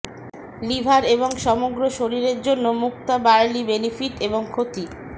liver এবং সমগ্র শরীরের জন্য মুক্তা বার্লি বেনিফিট এবং ক্ষতি